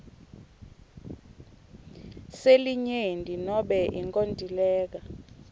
selinyenti nobe inkontileka